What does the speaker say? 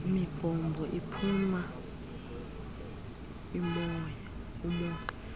mibhobho iphuma umoya